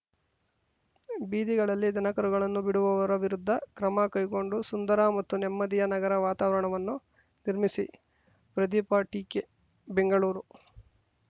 ಬೀದಿಗಳಲ್ಲಿ ದನಕರುಗಳನ್ನು ಬಿಡುವವರ ವಿರುದ್ಧ ಕ್ರಮ ಕೈಗೊಂಡು ಸುಂದರ ಮತ್ತು ನೆಮ್ಮದಿಯ ನಗರ ವಾತಾವರಣವನ್ನು ನಿರ್ಮಿಸಿ ಪ್ರದೀಪಟಿಕೆ ಬೆಂಗಳೂರು